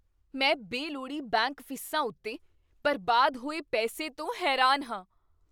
ਮੈਂ ਬੇਲੋਡ਼ੀ ਬੈਂਕ ਫੀਸਾਂ ਉੱਤੇ ਬਰਬਾਦ ਹੋਏ ਪੈਸੇ ਤੋਂ ਹੈਰਾਨ ਹਾਂ।